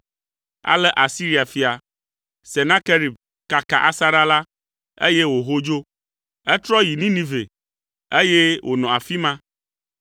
Ale Asiria fia, Senakerib kaka asaɖa la, eye wòho dzo. Etrɔ yi Ninive, eye wònɔ afi ma.